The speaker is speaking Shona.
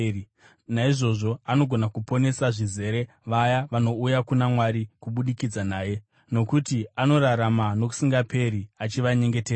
Naizvozvo anogona kuponesa zvizere vaya vanouya kuna Mwari kubudikidza naye, nokuti anorarama nokusingaperi achivanyengeterera.